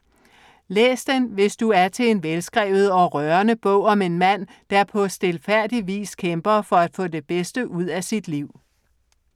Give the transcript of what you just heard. Læs den, hvis du er til en velskrevet og rørende bog om en mand, der på stilfærdig vis kæmper for at få det bedste ud af sit liv.